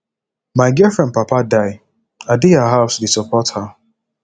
my girlfriend papa die i dey her house dey support her